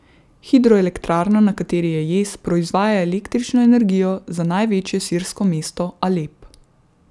Hidroelektrarna, na kateri je jez, proizvaja električno energijo za največje sirsko mesto Alep.